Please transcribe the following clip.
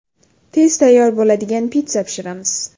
Tez tayyor bo‘ladigan pitssa pishiramiz.